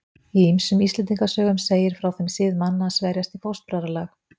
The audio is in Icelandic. Í ýmsum Íslendingasögum segir frá þeim sið manna að sverjast í fóstbræðralag.